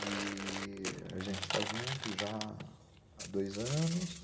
E... a gente está junto já há dois anos.